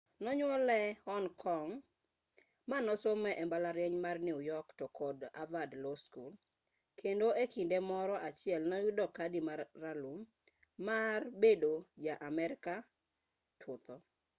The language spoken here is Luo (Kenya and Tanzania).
nonyuole hong kong ma nosomo e mbalariany ma new york to kod harvard law school kendo e kinde moro achiel noyudo kadi ma ralum mar bedo ja-amerka chutho